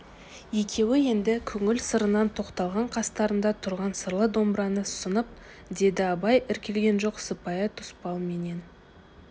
екеуі енді көңіл сырынан тоқталған қастарында тұрған сырлы домбыраны ұсынып деді абай іркілген жоқ сыпайы тұспалменен